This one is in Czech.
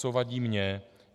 Co vadí mně.